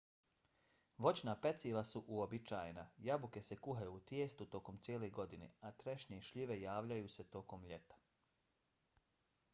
voćna peciva su uobičajena - jabuke se kuhaju u tijestu tokom cijele godine a trešnje i šljive javljaju se tokom ljeta